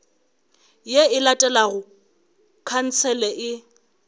ye e latelago khansele e